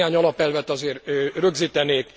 Néhány alapelvet azért rögzítenék.